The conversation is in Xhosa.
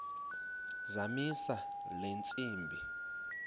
zamisa le ntsimbi